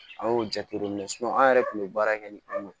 An y'o jateminɛ an yɛrɛ tun bɛ baara kɛ ni o ye